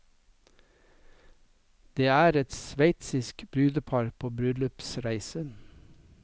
Det er et sveitsisk brudepar på bryllupsreise.